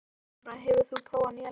Elenóra, hefur þú prófað nýja leikinn?